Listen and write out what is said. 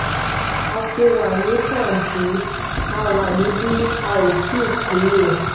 a ti wà ní pàǹtí a wà níbí a ò tì í kúrò